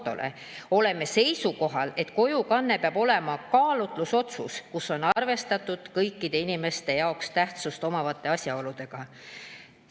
Oleme seisukohal, et kojukanne peaks olema kaalutlusotsus, kus on arvestatud kõikide inimese jaoks tähtsust omavate asjaoludega.